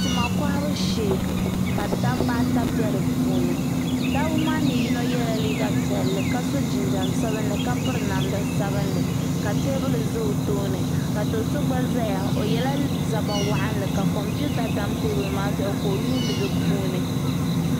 Tima kohabu shee ka dabba ata be dipuuni dabbba maani yino yela liiga piɛlli ka so jinjiɛm sabinli ka piri namda sabinli ka teebuli zaa o tooni ka do'so gba zaya o yela liiga zabba waɣanli ka kompita tam teebuli maa zuɣu ka o yuuni di puuni.